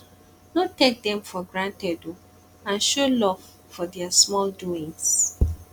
no take dem for granted o and show luv for dia small doings